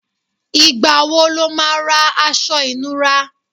Ìgbà wo lo ma ra aṣọ ìnura?